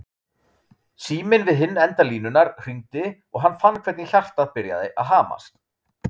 Síminn við hinn enda línunnar hringdi og hann fann hvernig hjartað byrjaði að hamast.